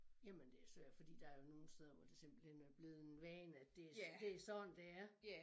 Jamen det svært fordi der jo nogle steder hvor det simpelthen er blevet en vane at det det sådan det er